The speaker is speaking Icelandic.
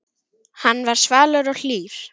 Hann var svalur og hlýr.